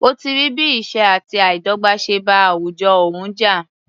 Ó ti rí bí ìṣẹ́ àti àìdọ́gbà ṣe bá àwùjọ òun jà.